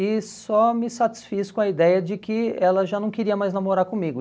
E só me satisfiz com a ideia de que ela já não queria mais namorar comigo.